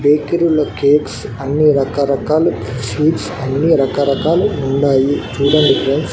బేకరీలో cakes అన్ని రకాల రకాలు స్వీట్స్ అన్ని రకరకాలు ఉండాయి చూడండి ఫ్రెండ్స్ .